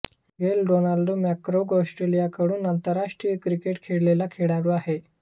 Glenn Donald McGrath ऑस्ट्रेलियाकडून आंतरराष्ट्रीय cricket खेळलेला खेळाडू आहे